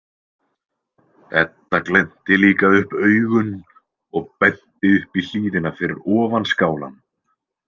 Edda glennti líka upp augun og benti upp í hlíðina fyrir ofan skálann.